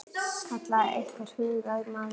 kallaði einhver hugaður maður.